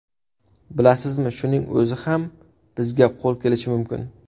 Bilasizmi, shuning o‘zi ham bizga qo‘l kelishi mumkin.